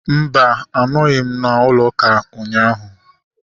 Mba, anọghị m n'ụlọ ụka ụnyaahụ